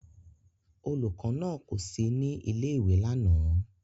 Olùkọ́ náà kò sí ní ilé-ìwé lánàá.